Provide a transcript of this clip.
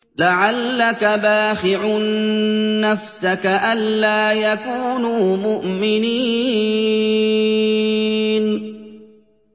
لَعَلَّكَ بَاخِعٌ نَّفْسَكَ أَلَّا يَكُونُوا مُؤْمِنِينَ